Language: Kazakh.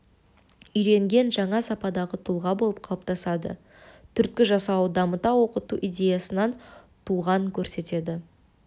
үйренген жаңа сападағы тұлға болып қалыптасады түрткі жасауы дамыта оқыту идеясынан туған көрсетеді